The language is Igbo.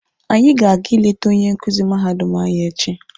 Anyị ga-aga ịlete onye nkuzi mahadum anyị echi.